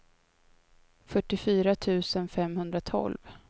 fyrtiofyra tusen femhundratolv